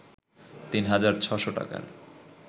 তিন হাজার ৬শ টাকার